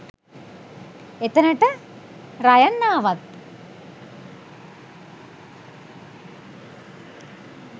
එතනට රයන් ආවත්